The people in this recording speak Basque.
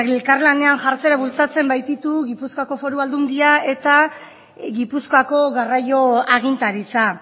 elkarlanean jartzera bultzatzen baititu gipuzkoako foru aldundia eta gipuzkoako garraio agintaritza